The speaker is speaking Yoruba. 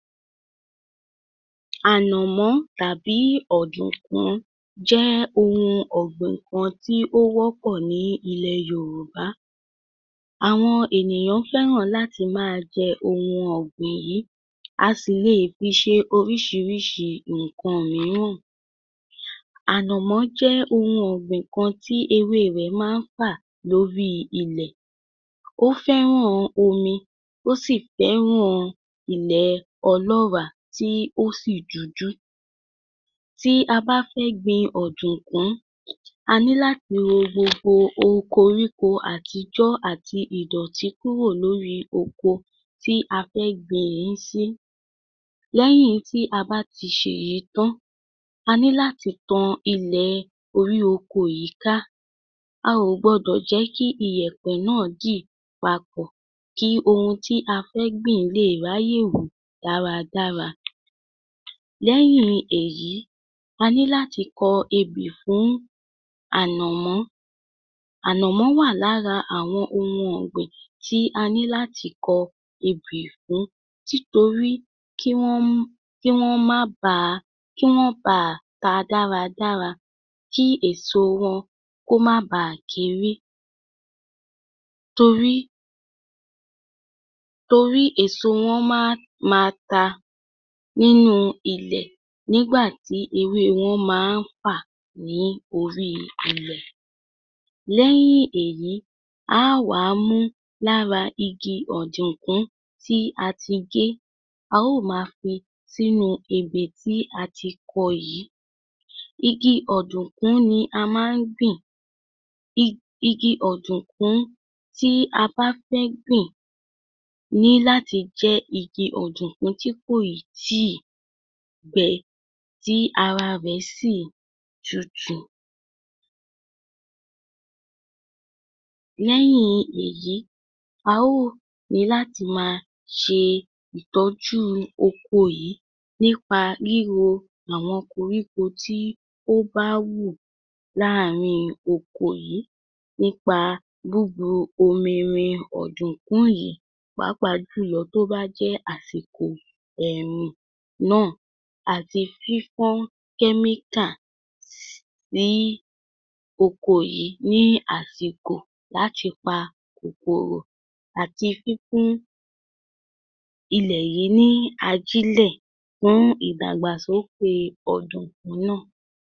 Ànàmọ́ tàbí ọ̀dùkún jẹ́ ohun ọ̀gbìn kan tí ó wọ̀pọ̀ ní ilẹ̀ Yòrùbá. Àwọn ènìyàn fẹ́ràn láti máa jẹ ohun ọ̀gbìn yìí. A sì leè fi ṣe oríṣiríṣi ǹkan mìíràn. Ànàmọ́ jẹ́ ohun ọ̀gbìn kan tí ewé rẹ̀ máa ń fà lórí ilẹ̀. Ó fẹ́ràn omi, ó sì fẹ́ràn ilẹ̀ ọlọ́ọ̀rá tí ó sì dúdú. Tí a bá fẹ́ gbin ọ̀dùkún, a ní láti ro gbogbo okoríko àtijọ́ àti ìdọ̀tí kúrò lórí oko tí a fẹ́ gbiìn ín sí. Lẹ́yìn tí a bá ti ṣèyí tán, a ní láti tan ilẹ̀ orí oko yìí ká. A ò gbọdọ̀ jẹ́ kí ìyẹ̀pẹ̀ náà dì papọ̀, kí ohun tí a fẹ́ gbìn leè ráyè wù dáradára. Lẹ́yìn èyí, a ní láti kọ ebè fún, ànàmọ́. Ànàmọ́ wà lára àwọn ohun ọ̀gbìn tí a ní láti kọ ebè fún, títorí kí wọ́nm, kí wọ́n má ba, kí wọ́n baà ta dáradára; kí èso wọn kó má baà kéré. Torí torí èso wọn má ma ta nínú ilẹ̀ nígbàtí ewé wọn má ń fà ní oríi ilẹ̀. Lẹ́yìn èyí, á wàá mú lára igi ọ̀dùkún tí a ti gé, aá ò máa fi sínú ebè tí a ti kọ yìí. Igi ọ̀dùkún ni a má ń gbìn. Ig...igi ọ̀dùkún tí a bá fẹ́ gbìn, ní láti jẹ́ igi ọ̀dùkún tí kèì tíì gbẹ, tí ara rẹ̀ sì tútù. Lẹ́yìn èyí, a ó nìí láti máa ṣe ìtọ́jú oko yìí nípa ríro àwọn koríko tí ó bá wù láàrín oko yìí nípa búbu omi rin ọ̀dùkún yìí, pàápàá jùlọ tó bá jẹ́ àsìkò ẹ̀rùn náà, àti fífọ́n kẹ́míkà s..síí oko yìí ní àsìkò láti pa kòkòrò, àti fífún ilẹ̀ yìí ní ajílẹ̀ fún ìdàgbàsókè ọ̀dùkún náà